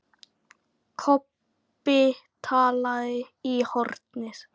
Kobbi talaði í hornið.